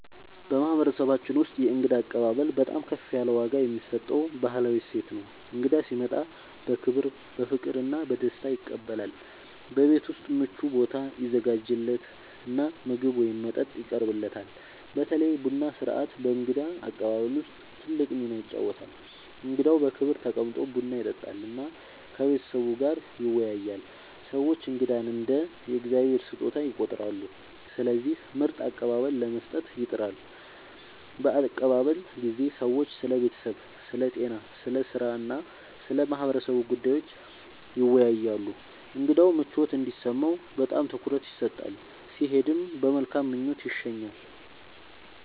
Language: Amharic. በማህበረሰባችን ውስጥ የእንግዳ አቀባበል በጣም ከፍ ያለ ዋጋ የሚሰጠው ባህላዊ እሴት ነው። እንግዳ ሲመጣ በክብር፣ በፍቅር እና በደስታ ይቀበላል፤ በቤት ውስጥ ምቹ ቦታ ይዘጋጃለት እና ምግብ ወይም መጠጥ ይቀርብለታል። በተለይ ቡና ሥርዓት በእንግዳ አቀባበል ውስጥ ትልቅ ሚና ይጫወታል፣ እንግዳው በክብር ተቀምጦ ቡና ይጠጣል እና ከቤተሰቡ ጋር ይወያያል። ሰዎች እንግዳን እንደ “የእግዚአብሔር ስጦታ” ይቆጥራሉ፣ ስለዚህ ምርጥ አቀባበል ለመስጠት ይጥራሉ። በአቀባበል ጊዜ ሰዎች ስለ ቤተሰብ፣ ስለ ጤና፣ ስለ ሥራ እና ስለ ማህበረሰቡ ጉዳዮች ይወያያሉ። እንግዳው ምቾት እንዲሰማው በጣም ትኩረት ይሰጣል፣ ሲሄድም በመልካም ምኞት ይሸኛል።